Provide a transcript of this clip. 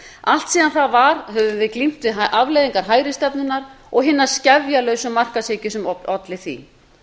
allt síðan það varð höfum við glímt við afleiðingar hægri stefnunnar og hinnar skefjalausu markaðshyggju sem olli því